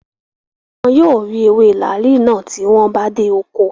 Wọn yóò rí ewé làálì náà tí wọ́n bá dé oko